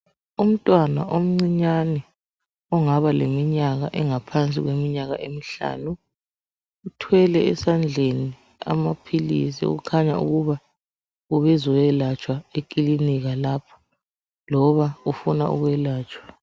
Umntwana omncinyane ongaba leminyaka engaphansi kweminyaka emihlanu uthwele esandleni amaphilisi kukhanya ukuba ubezoyelatshwa ekilinika lapho loba ufuna ukwelatshwa.